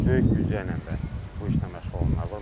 Böyük büdcə ilə də bu işlə məşğul olanlar var.